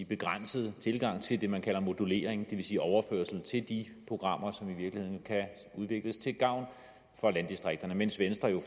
begrænset tilgang til det man kalder modulering det vil sige overførsel til de programmer som i virkeligheden kan udvikles til gavn for landdistrikterne mens venstre